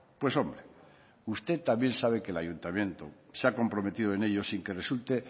pues hombre usted también sabe que el ayuntamiento se ha comprometido en ello sin que resulte